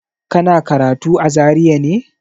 Kana karatu a Zaria ne?